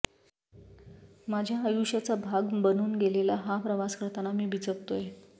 माझ्या आयुष्याचा भाग बनून गेलेला हा प्रवास करताना मी बिचकतोय़